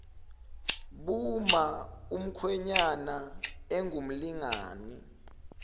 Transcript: buma umkhwenyana engumlingani